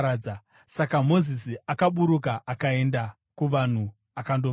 Saka Mozisi akaburuka akaenda kuvanhu akandovaudza.